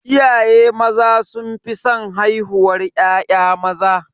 Iyaye maza sun fi san haihuwar ya'ya maza.